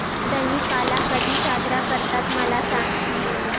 दहिकाला कधी साजरा करतात मला सांग